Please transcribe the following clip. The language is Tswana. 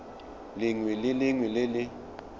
lengwe le lengwe le le